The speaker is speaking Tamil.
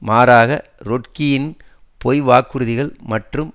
மாறாக ட்ரொட்கியின் பொய் வாக்குறுதிகள் மற்றும்